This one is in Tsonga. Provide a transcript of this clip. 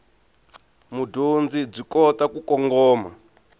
mudyondzi byi kota ku kongoma